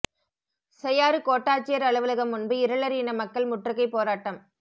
செய்யாறு கோட்டாட்சியர் அலுவலகம் முன்பு இருளர் இன மக்கள் முற்றுகை போராட்டம்